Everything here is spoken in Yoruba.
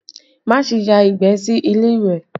Má ṣe ya ìgbẹ́ sí ilé ìwẹ̀!